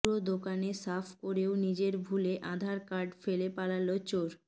পুরো দোকানে সাফ করেও নিজের ভুলে আধার কার্ড ফেলে পালাল চোর